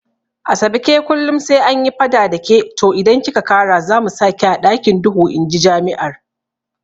Asabe ke kullum sai anyi fada dake to idan kika kara zamu saki a ɗakin duhu inji jami'ar